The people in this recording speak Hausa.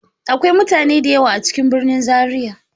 Akwai mutane da yawa a cikin birnin zaria.